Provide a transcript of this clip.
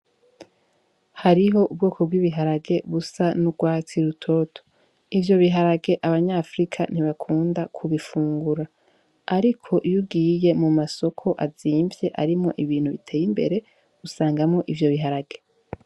Hariho ubwoko bw'ibiharage busa n'urwatsi rutoto ivyo biharage abany'afrika ntibakunda kubifungura ariko iyo ugiye mu masoko azimvye arimwo ibintu biteye imbere usangamwo ivyo biharage.